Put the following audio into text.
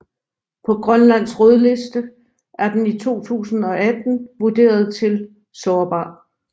På Grønlands Rødliste er den i 2018 vurderet til Sårbar